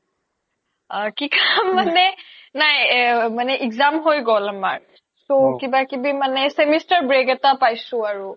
কি কাম মানে নাই exam হৈ গ্'ল আমাৰ তো কিবা কিবি মানে semester break এটা পাইছো আৰু